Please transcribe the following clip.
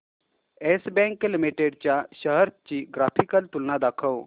yes Bank Limited च्या shares ची graphical तुलना दाखव